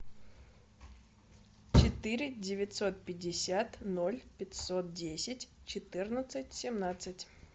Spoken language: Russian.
четыре девятьсот пятьдесят ноль пятьсот десять четырнадцать семнадцать